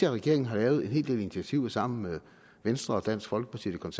at regeringen har lavet en hel del initiativer sammen med venstre og dansk folkeparti og